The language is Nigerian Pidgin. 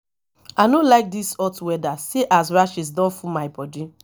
i no like dis hot weather see as rashes don full my body